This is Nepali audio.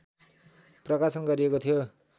प्रकाशन गरिएको थियो